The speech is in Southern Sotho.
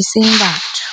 eseng batho.